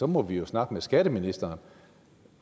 må vi snakke med skatteministeren